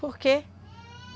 Por quê?